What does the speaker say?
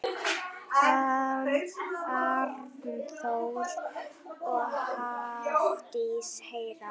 Arnþór og Hafdís Hera.